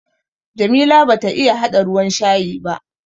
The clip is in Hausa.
Jamila bata iya haɗa ruwan shayi ba.